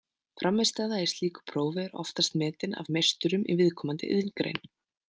Frammistaða í slíku prófi er oftast metin af meisturum í viðkomandi iðngrein.